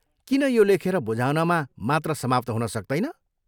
किन यो लेखेर बुझाउनमा मात्र समाप्त हुन सक्दैन?